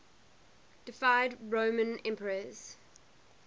deified roman emperors